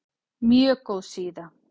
Mjög góð síða.